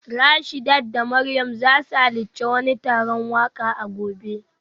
Rashidat da Mariam za su halarci wani taron waka a gobe